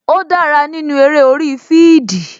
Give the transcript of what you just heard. Ó dára nínú eré orí fidii